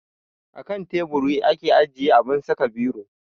Akan teburi ake ajiye abun saka biro